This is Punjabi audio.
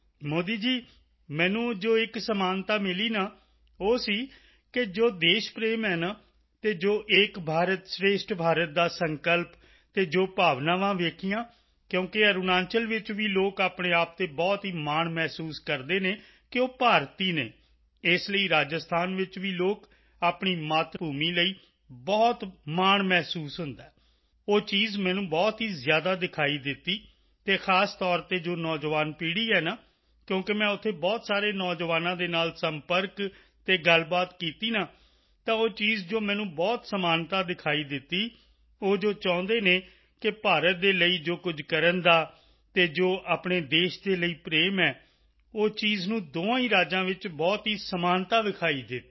ਮੋਦੀ ਜੀ ਮੈਨੂੰ ਜੋ ਇੱਕ ਸਮਾਨਤਾ ਮਿਲੀ ਨਾ ਉਹ ਸੀ ਕਿ ਜੋ ਦੇਸ਼ ਪ੍ਰੇਮ ਹੈ ਨਾ ਅਤੇ ਜੋ ਏਕ ਭਾਰਤ ਸ਼੍ਰੇਸ਼ਠ ਭਾਰਤ ਦਾ ਜੋ ਸੰਕਲਪ ਅਤੇ ਜੋ ਭਾਵਨਾਵਾਂ ਵੇਖੀਆਂ ਕਿਉਂਕਿ ਅਰੁਣਾਚਲ ਵਿੱਚ ਵੀ ਲੋਕ ਆਪਣੇ ਆਪ ਤੇ ਬਹੁਤ ਹੀ ਮਾਣ ਮਹਿਸੂਸ ਕਰਦੇ ਹਨ ਕਿ ਉਹ ਭਾਰਤੀ ਹਨ ਇਸ ਲਈ ਅਤੇ ਰਾਜਸਥਾਨ ਵਿੱਚ ਵੀ ਲੋਕ ਆਪਣੀ ਮਾਤਭੂਮੀ ਲਈ ਬਹੁਤ ਜੋ ਮਾਣ ਮਹਿਸੂਸ ਹੁੰਦਾ ਹੈ ਉਹ ਚੀਜ਼ ਮੈਨੂੰ ਬਹੁਤ ਹੀ ਜ਼ਿਆਦਾ ਦਿਖਾਈ ਦਿੱਤੀ ਅਤੇ ਖਾਸ ਤੌਰ ਤੇ ਜੋ ਨੌਜਵਾਨ ਪੀੜ੍ਹੀ ਹੈ ਨਾ ਕਿਉਂਕਿ ਮੈਂ ਉੱਥੇ ਬਹੁਤ ਸਾਰੇ ਨੌਜਵਾਨਾਂ ਦੇ ਨਾਲ ਸੰਪਰਕ ਅਤੇ ਗੱਲਬਾਤ ਕੀਤੀ ਨਾ ਤਾਂ ਉਹ ਚੀਜ਼ ਜੋ ਮੈਨੂੰ ਬਹੁਤ ਸਮਾਨਤਾ ਦਿਖਾਈ ਦਿੱਤੀ ਉਹ ਜੋ ਚਾਹੁੰਦੇ ਹਨ ਕਿ ਭਾਰਤ ਦੇ ਲਈ ਜੋ ਕੁਝ ਕਰਨ ਦਾ ਅਤੇ ਜੋ ਆਪਣੇ ਦੇਸ਼ ਦੇ ਲਈ ਪ੍ਰੇਮ ਹੈ ਉਹ ਚੀਜ਼ ਨੂੰ ਦੋਹਾਂ ਹੀ ਰਾਜਾਂ ਵਿੱਚ ਬਹੁਤ ਹੀ ਸਮਾਨਤਾ ਦਿਖਾਈ ਦਿੱਤੀ